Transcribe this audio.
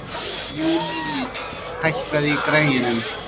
Júlí, hækkaðu í græjunum.